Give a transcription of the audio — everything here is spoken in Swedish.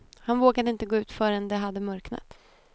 Han vågade inte gå ut förrän det hade mörknat.